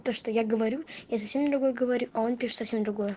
то что я говорю я совсем другое говорю он пишет совсем другое